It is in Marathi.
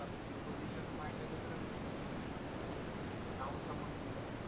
prepositions माहित आहे का तुला prepositions पण आहे ते नाव समोर